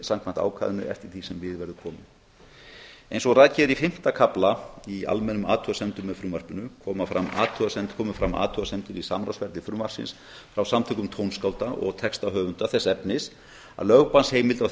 samkvæmt ákvæðinu eftir því sem við verður komið eins og rakið er í fimmta kafla í almennum athugasemdum með frumvarpinu komu fram athugasemdir við samráðsferli frumvarpsins frá samtökum tónskálda og textahöfunda þess efnis að lögbannsheimild á